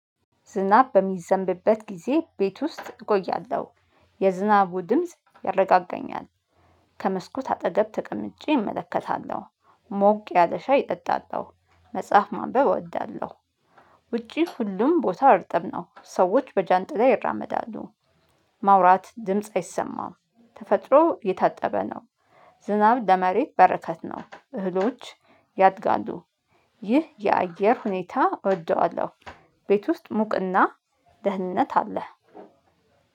ዝናብ በሚዘንብበት ጊዜ ቤት ውስጥ እቆያለሁ የዝናቡ ድምጽ ያረጋገኛል። ከመስኮት አጠገብ ተቀምጬ እመለከታለሁ። ሞቅ ያለ ሻይ እጠጣለሁ። መጽሐፍ ማንበብ እወዳለሁ። ውጪ ሁሉም ቦታ እርጥብ ነው ሰዎች በጃንጥላ ይራመዳሉ። ማውራት ድምጽ አይሰማም። ተፈጥሮ እየታጠበ ነው። ዝናብ ለመሬት በረከት ነው እህሎች ያድጋሉ። ይህ የአየር ሁኔታ እወደዋለሁ። ቤት ውስጥ ሙቅና ደህንነት አለ።